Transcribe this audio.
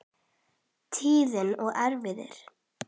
Tíðni og erfðir